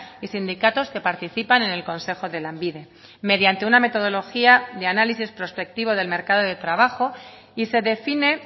y sindicatos que participan en el consejo de lanbide mediante una metodología de análisis prospectivo del mercado de trabajo y se define